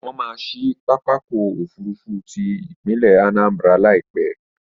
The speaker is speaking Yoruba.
Wọ́n maá ṣí pápákọ̀ òfurufú ti ìpínlẹ̀ Anambra Láìpẹ́